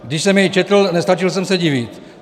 Když jsem jej četl, nestačil jsem se divit.